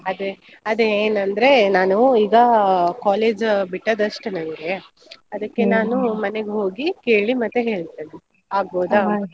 ಅದೇ ಅದೇ ಏನಂದ್ರೆ ನಾನು ಈಗ college ಬಿಟ್ಟದಷ್ಟೇ bgSpeach ನಂಗೆ ಮನೆಗ್ ಹೋಗಿ ಕೇಳಿ ಮತ್ತೆ ಹೇಳ್ತೇನೆ. ?